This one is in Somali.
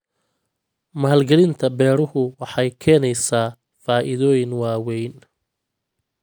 Maalgelinta beeruhu waxay keenaysaa faa'iidooyin waaweyn.